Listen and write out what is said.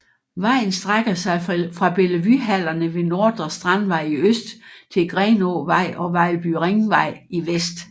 Vejen strækker sig fra Bellevuehallerne ved Nordre Strandvej i øst til Grenåvej og Vejlby Ringvej i vest